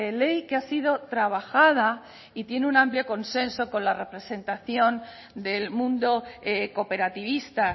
ley que ha sido trabajada y tiene un amplio consenso con la representación del mundo cooperativista